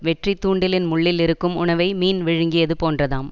வெற்றி தூண்டிலின் முள்ளில் இருக்கும் உணவை மீன் விழுங்கியது போன்றதாம்